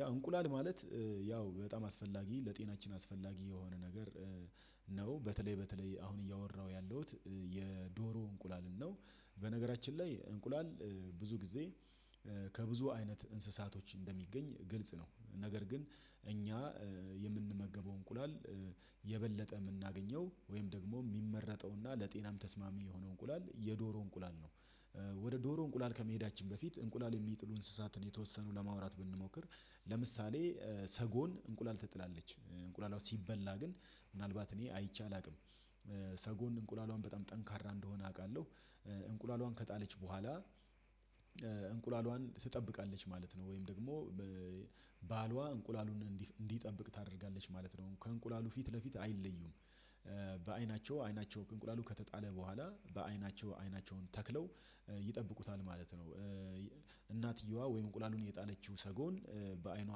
ያው እንቁላል ማለት ያው በጣም አስፈላጊ ለጤናችን አስፈላጊ የሆነ ነገር እሄዉም በተለይ በተለይ አሁን እያወራሁ ያለሁት የዶሮ እንቁላልን ነው። በነገራችን ላይ እንቁላል ብዙ ጊዜ ከብዙ አይነት እንስሳቶች እንደሚገኝ ግልጽ ነው። ነገር ግን እኛ የምንመገበው እንቁላል የበለጠ የምናገኘው ወይም ደግሞ የሚመረጠው እና ለጤናም ተስማሚ የሆነው እንቁላል የዶሮ እንቁላል ነው። ወደ ዶሮ እንቁላል ከመሄዳችን በፊት እንቁላል የሚጥሉ እንስሳትን የተወሰኑ ለማውራት ብንሞክር፣ ለምሳሌ ሰጎን እንቁላል ትጥላለች። እንቁላላው ሲበላ ግን ምናልባት እኔ አይቼ አላውቅም። ሰጎን እንቁላልዋን በጣም ጠንካራ እንደሆነ አውቃለሁ። እንቁላልዋን ከጣለች በኋላ እንቁላሏን ትጠብቃለች ማለት ነው ወይም ደግሞ ባሏ እንቁላሉን እንዲጠብቅ ታደርጋለች ማለት ነው። ከእንቁላሉ ፊት ለፊት አይለዩም በአይናቸው አይናቸው ከእንቁላሉ ከተጣለ በኋላ በአይናቸው አይናቸውን ተክለው ይጠብቁታል ማለት ነው። እናትየዋ ወይም እንቁላሉን የጣለችው ሰጎን በአይኗ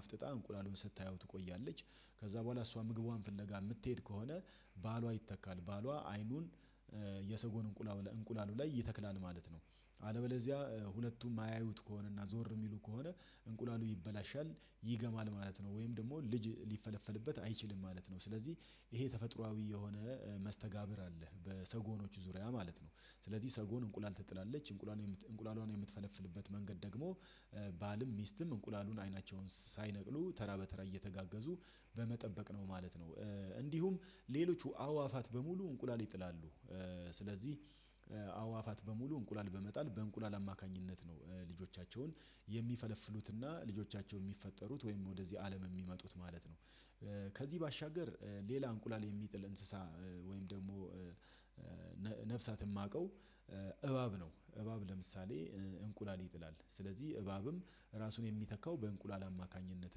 አፍጥጣ እንቁላሉን ስታየው ትቆያለች። ከዛ በኋላ እሷ ምግቧን ፍለጋ የምትሄድ ከሆነ ባሏ ይተካል ባሏ አይኑን የሰጎን እንቁላሉ ላይ ይተክላል ማለት ነው። አለበለዚያ ሁለቱም የማያዩት ከሆነ እና ዞር የሚሉ ከሆነ እንቁላሉ ይበላሻል፣ ይገማል ማለት ነው ወይም ደግሞ ልጅ ሊፈለፈልበት አይችልም ማለት ነው። ስለዚህ ይሄ ተፈጥሮአዊ የሆነ አለህ በሰጎኖች ዙሪያ ማለት ነው። ስለዚህ ሰጎን እንቁላል ትጥላለች እንቁላል እንቁላሏን የምትፈለፍልበት መንገድ ደግሞ ባልም ሚስትም እንቁላሉን አይናቸውን ሳይነቅሉ ተራ በተራ እየተጋገዙ በመጠበቅ ነው ማለት ነው። እንዲሁም ሌሎቹ አዋፋት በሙሉ እንቁላል ይጥላሉ። ስለዚህ አዋፋት በሙሉ እንቁላል በመጣል በእንቁላል አማካኝነት ነው። ልጆቻቸውን የሚፈለፍሉትና ልጆቻቸው የሚፈጠሩት ወይም ወደዚህ አለም የሚመጡት ማለት ነው። ከዚህ ባሻገር ሌላ እንቁላል የሚጥል እንስሳ ወይም ደግሞ ነፍሳት የማውቀው እባብ ነው። እባብ ለምሳሌ እንቁላል ይጥላል። ስለዚህ እባብም ራሱን የሚተካው በእንቁላል አማካኝነት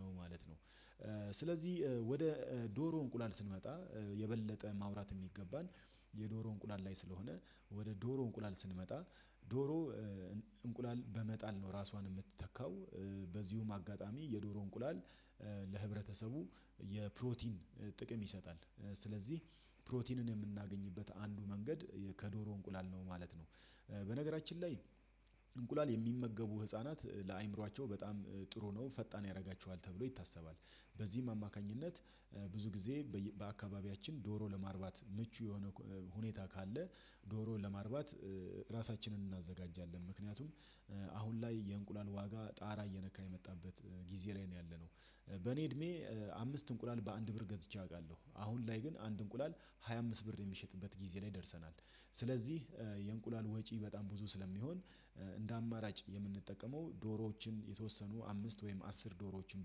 ነው ማለት ነው። ስለዚህ ወደ ዶሮ እንቁላል ስንመጣ የበለጠ ማውራት የሚገባን የዶሮ እንቁላል ላይ ስለሆነ ወደ ዶሮ እንቁላል ስንመጣ ዶሮ እንቁላል በመጣል ነው ራሷን የምትተካው። በዚሁም አጋጣሚ የዶሮ እንቁላል ለህብረተሰቡ የፕሮቲን ጥቅም ይሰጣል። ስለዚህ ፕሮቲንን የምናገኝበት አንዱ መንገድ ከዶሮ እንቁላል ነው ማለት ነው። በነገራችን ላይ እንቁላል የሚመገቡ ህፃናት ለአእምሮአቸው በጣም ጥሩ ነው። ፈጣን ያደርጋቸዋል ተብሎ ይታሰባል። በዚህም አማካኝነት ብዙ ጊዜ በአካባቢያችን ዶሮ ለማርባት ምቹ የሆነ ሁኔታ ካለ ዶሮ ለማርባት ራሳችንን እናዘጋጃለን። ምክንያቱም አሁን ላይ የእንቁላል ዋጋ ጣራ እየነካ የመጣበት ጊዜ ላይ ነው ያለነው። በእኔ እድሜ አምስት እንቁላል በአንድ ብር ገዝቼ አውቃለሁ። አሁን ላይ ግን አንድ እንቁላል ሃያ አምስት ብር የሚሸጥበት ጊዜ ላይ ደርሰናል። ስለዚህ የእንቁላል ወጪ በጣም ብዙ ስለሚሆን እንደ አማራጭ የምንጠቀመው ዶሮዎችን የተወሰኑ አምስት ወይም አስር ዶሮዎችን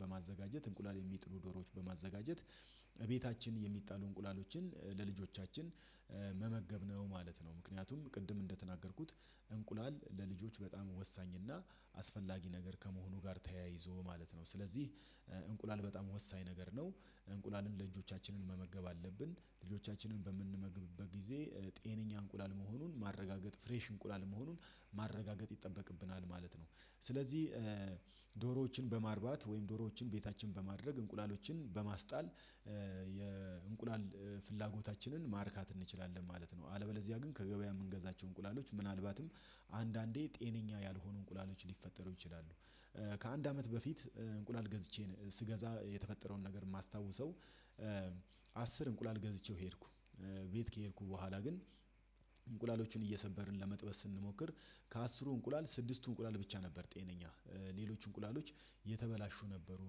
በማዘጋጀት እንቁላል የሚጥሉ ዶሮዎችን በማዘጋጀት ቤታችን የሚጣሉ እንቁላሎችን ለልጆቻችን መመገብ ነው ማለት ነው። ምክንያቱም ቅድም እንደተናገርኩት እንቁላል ለልጆች በጣም ወሳኝ እና አስፈላጊ ነገር ከመሆኑ ጋር ተያይዞ ማለት ነው ስለዚህ እንቁላል በጣም ወሳኝ ነገር ነው። እንቁላልን ልጆቻችንን መመገብ አለብን። ልጆቻችንን በምንመግብበት ጊዜ ጤነኛ እንቁላል መሆኑን ማረጋገጥ፣ ፍሬሽ እንቁላል መሆኑን ማረጋገጥ ይጠበቅብናል ማለት ነው። ስለዚህ ዶሮዎችን በማርባት ወይም ዶሮዎችን ቤታችን በማድረግ እንቁላሎችን በማስጣል የእንቁላል ፍላጎታችንን ማርካት እንችላለን ማለት ነው። አለበለዚያ ግን ከገበያ የምንገዛቸው እንቁላሎች ምናልባትም አንዳንዴ ጤነኛ ያልሆኑ እንቁላሎች ሊፈጠሩ ይችላሉ። ከአንድ አመት በፊት እንቁላል ገዝቼ ስገዛ የተፈጠረውን ነገር የማስታውሰው አስር እንቁላል ገዝቼው ሄድኩ ቤት ከሄድኩ በኋላ ግን እንቁላሎችን እየሰበርን ለመጥበስ ስንሞክር ከአስሩ እንቁላል ስድስቱ እንቁላል ብቻ ነበር ጤነኛ፣ ሌሎች እንቁላሎች የተበላሹ ነበሩ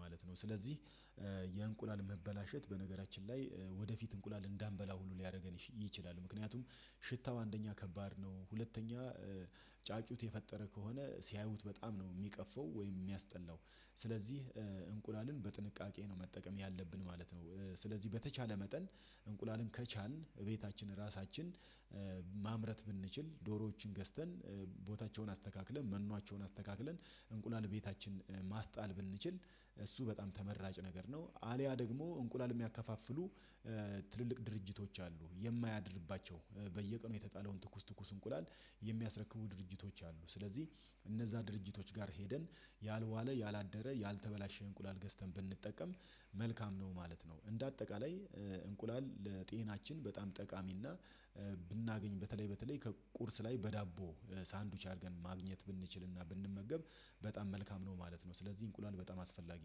ማለት ነው። ስለዚህ የእንቁላል መበላሸት በነገራችን ላይ ወደፊት እንቁላል እንዳንበላ ሁሉ ሊያደርገን ይችላል። ምክንያቱም ሽታው አንደኛ ከባድ ነው። ሁለተኛ ጫጩት የፈጠረ ከሆነ ሲያዩት በጣም ነው የሚቀፈው ወይም የሚያስጠላው። ስለዚህ እንቁላልን በጥንቃቄ ነው መጠቀም ያለብን ማለት ነው። ስለዚህ በተቻለ መጠን እንቁላልን ከቻልን እቤታችን ራሳችን ማምረት ብንችል ዶሮዎችን ገዝተን፣ ቦታቸውን አስተካክለን፣ መኗቸውን አስተካክለን እንቁላል ቤታችን ማስጣል ብንችል እሱ በጣም ተመራጭ ነገር ነው። አልያ ደግሞ እንቁላል የሚያከፋፍሉ ትልልቅ ድርጅቶች አሉ። የማያድርባቸው በየቀኑ የተጣለውን ትኩስ ትኩስ እንቁላል የሚያስረክቡ ድርጅቶች አሉ። ስለዚህ እነዛ ድርጅቶች ጋር ሄደን ያልዋለ፣ ያላደረ፣ ያልተበላሸ እንቁላል ገዝተን ብንጠቀም መልካም ነው ማለት ነው። እንደ አጠቃላይ እንቁላል ለጤናችን በጣም ጠቃሚና ብናገኝ በተለይ በተለይ ከቁርስ ላይ በዳቦ ሳንድዊች አድርገን ማግኘት ብንችልና ብንመገብ በጣም መልካም ነው ማለት ነው። ስለዚህ እንቁላል በጣም አስፈላጊ ነው።